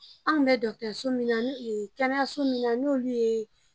An tun bɛ dɔgɔtɔrɔso min na n'o ye kɛnɛyaso min n'olu ye